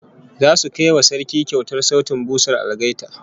Zasu kai wa Sarki kyautar sautin busar algaita